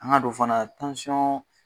An ŋ'a dɔn fana